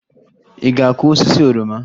Ị ga-akụ osisi oroma?